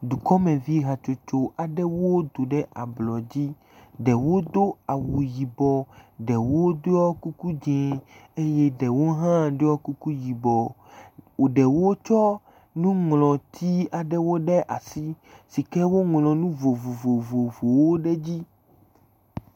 Dukɔmevi hatsotso aɖewo do ɖe ablɔ dzi. Ɖewo do awɔ yibɔ, ɖewo ɖiɔ kuku dzi eye ɖewo hã ɖɔ kuku yibɔ. Ɖewo hã tsɔ nuŋlɔti aɖewo ɖe asi sike woŋlɔ nu vovovowo ɖe edzi.